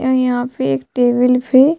अअअ यहाँ फे एक टेबल फे --